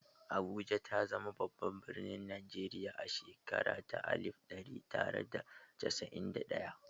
Abuja ta zama babban birnin Najeriya a shekara ta alif ɗari tara da casa'in da ɗaya.